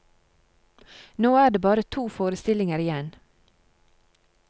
Nå er det bare to forestillinger igjen.